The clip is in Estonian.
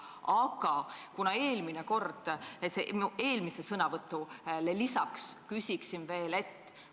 Aga ma küsin oma eelmisele küsimusele lisaks veel seda.